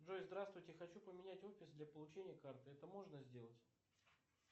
джой здравствуйте хочу поменять офис для получения карты это можно сделать